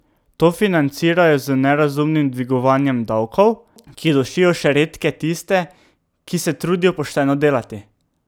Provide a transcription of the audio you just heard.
To financirajo z nerazumnim dvigovanjem davkov, ki dušijo še redke tiste, ki se trudijo pošteno delati.